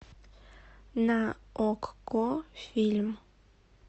на окко фильм